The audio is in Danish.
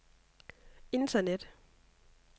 internet